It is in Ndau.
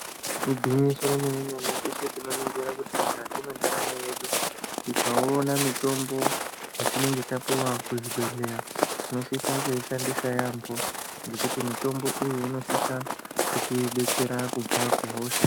Igwinyiso remene-mene teshe tinoningira kuti mukati mwendaramo yedu tikaona mitombo yatinenge tapiwa kuzvibhedhleya tinosisa kuishandisa yaamho ngekuti mitombo iyi inosisa kutibetsera kubva kuhosha.